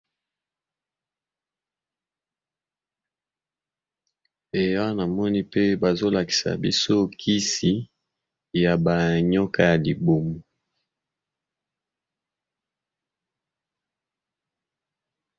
Awa namoni pe bazali kolakisa biso kisi ya kimondele, ezali bongo kisi ya ba nioka ya libumu